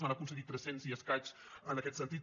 n’ha aconseguit tres cents i escaig en aquest sentit